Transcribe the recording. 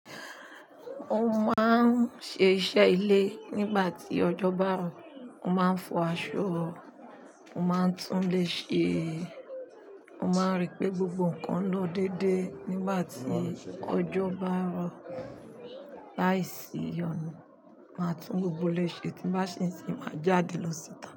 Mo máa ń ṣe iṣẹ́ ilé nígbà tí ọjọ́ bá rọ̀. Mo máa ń fọ aṣọ, mo máa ń tún lé ṣe, mo máa ń rí pé gbogbo nǹkan lọ dédé nígbà tí ọjọ́ bá rọ̀. Láìsí ìyọnu, màá tún gbogbo ilé ṣe tí bá ṣe sì máa jáde lọ síta.